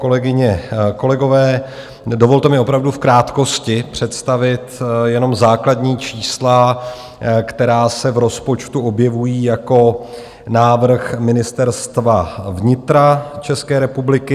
Kolegyně, kolegové, dovolte mi opravdu v krátkosti představit jenom základní čísla, která se v rozpočtu objevují jako návrh Ministerstva vnitra České republiky.